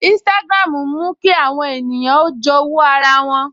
Instagram ń mú kí àwọn ènìyàn ó jowu ara wọn